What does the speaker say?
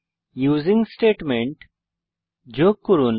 using statement যোগ করুন